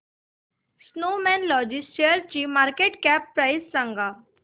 Snowman Logistics शेअरची market cap price सांगा